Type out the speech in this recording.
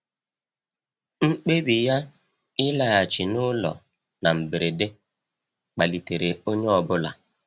Mkpebi ya ịlaghachi n'ụlọ na mberede kpalitere onye ọ bụla.